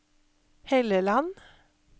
Helleland